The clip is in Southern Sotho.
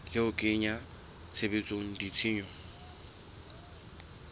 le ho kenya tshebetsong ditshisinyo